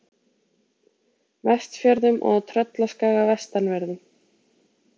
Vestfjörðum og á Tröllaskaga vestanverðum.